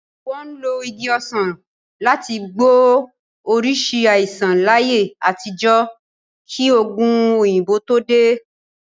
Wọ́n lo Igi ọsan láti gbọ́ oríṣìí àìsàn láyé àtijọ́ kí òògun òyìnbó tó dé.